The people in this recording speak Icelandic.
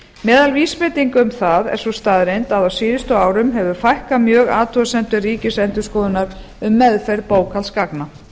meðal vísbendinga um það er sú staðreynd að á síðustu árum hefur fækkað mjög athugasemdum ríkiendurskoðunar um meðferð bókhaldsgagna